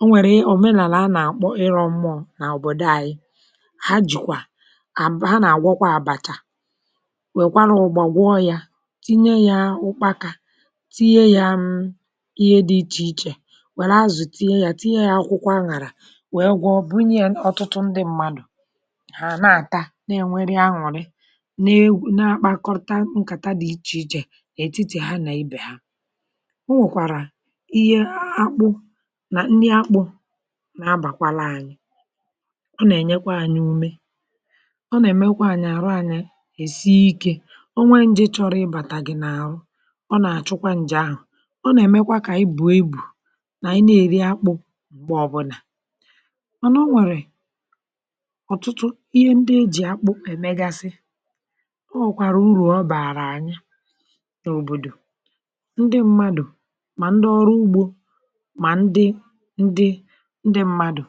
o nwèrè òmenàlà a nà-àkpọ, ịrọ̇ mmụ̇ọ̇ n’òbòdo àyị̇. Hà jùkwa à, bụ̀ hà nà-àgwọkwa àbàchà; wèkwara ụgbọ̀, gwọ yȧ, tinye yȧ ụkpȧkȧ, tinye yȧ ṁ, ihe dị̇ ichè ichè; wère azụ̀ tinye yȧ, tinye yȧ akwụkwọ, aṅàrà, wèe gwọ̀.Bụnye, ọ̀tụtụ ndị mmadụ̀ na-akọrọta nkàta dị̀ ichè ichè — um echichi hà nà ibè hà. O nwèkwàrà ihe akpụ nà ndị akpụ̇, na-abàkwala anyị̇; ọ nà-ènyekwa anyị̇ umè, ọ nà-èmekwa anyị̇ àrụ̇, anyị̇ èsi ike. Ọnwa nje, chọrọ ịbàtà gị̇ n’àhụ̇, ọ nà-àchụkwa ǹjè ahụ̀, ọ nà-èmekwa kà ibù ibù nà ị na-èri akpụ̇ m̀gbè ọbụ̀nà. Mànà o nwèrè ọ̀tụtụ ihe ndị e jì akpụ èmegasị n’òbòdò — ndị mmadụ̀, mà ndị ọrụ ugbȯ, mà ndị ndị mmadụ̀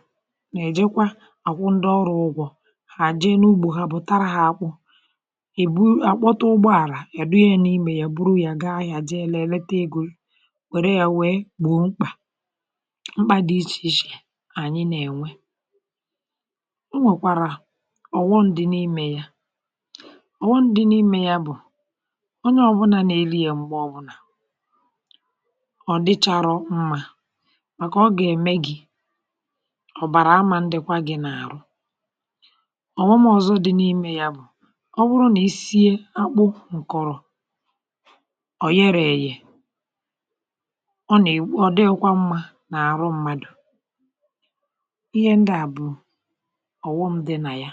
nà-èjekwa àkwụ, ndị ọrụ̇, ụgwọ̇; hà jee n’ugbȯ ha, bụ̀ tara hȧ, akwụ̇, èbu, àkpọta ụgbọ àlà yà dị ya n’imė ya, buru ya gaa ahịȧ, jee lėlėte egȯ, wère ya, wèe gbụ̀ mkpà, mkpà dị ichè ichè. Ànyị̇ nà-ènwe onye ọbụlà nà-eri yȧ, m̀gbè ọbụlà ọ̀ dịcharọ mmȧ, um màkà ọ gà-ème gị̇ ọ̀bàrà. Àmȧ, ndịkwa gị̇ n’àrụ̇, ọ̀wụmụ̇, ọ̀zọ dị n’ime yȧ bụ̀ — ọ bụrụ nà i sie akpụ ǹkọ̀rọ̀, ọ̀ yere èghiè, ọ nà-èw, ọ dịyekwa mmȧ n’àrụ̇ mmadụ̇. Ihe ndị à bụ̀ ọ̀ghọm dị nà ya.